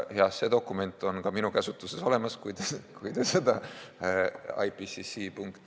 See dokument on ka minu käsutuses, võin teile selle anda, kui te seda ipcc.